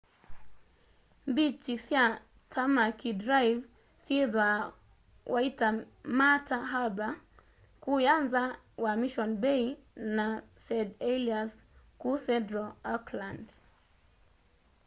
mbikyi sya tamaki drive syithwaa waitemata harbour kuuya nza wa mission bay na st heliers kuu central auckland